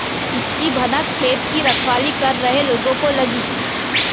इसकी भनक खेत की रखवाली कर रहे लोगों को लगी